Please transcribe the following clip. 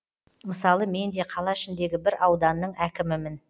мысалы мен де қала ішіндегі бір ауданның әкімімін